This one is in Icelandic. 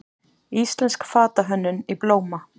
Íslensk fatahönnun í blóma